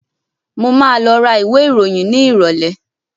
Mo máa lọ ra ìwé ìròyìn ní ìrọ̀lẹ́.